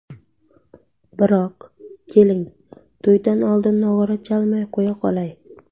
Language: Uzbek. Biroq, keling, to‘ydan oldin nog‘ora chalmay qo‘ya qolay.